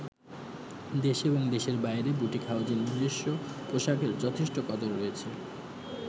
দেশে এবং দেশের বাইরে বুটিক হাউসের নিজস্ব পোশাকের যথেষ্ট কদর রয়েছে।